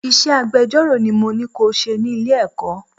Iṣẹ́ agbejọ́rò ni mo ní ko ṣe ni Ilé-ẹ̀kọ́.